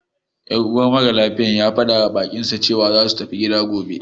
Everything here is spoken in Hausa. Yan uwar maralafiyar ya faɗawa baƙinsa cewa za su tafi gida gobe..